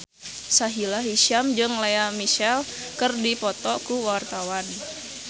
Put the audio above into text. Sahila Hisyam jeung Lea Michele keur dipoto ku wartawan